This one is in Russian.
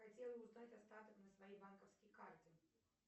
хотела узнать остаток на своей банковской карте